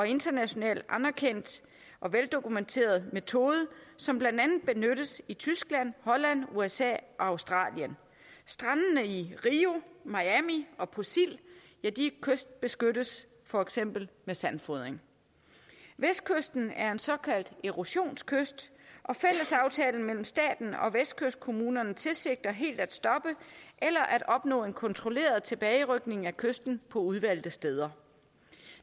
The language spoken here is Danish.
internationalt anerkendt og veldokumenteret metode som blandt andet benyttes i tyskland holland usa og australien strandene i rio miami og på sild kystbeskyttes for eksempel med sandfodring vestkysten er en såkaldt erosionskyst og fællesaftalen mellem staten og vestkystkommunerne tilsigter helt at stoppe eller at opnå en kontrolleret tilbagerykning af kysten på udvalgte steder